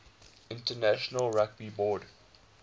international rugby board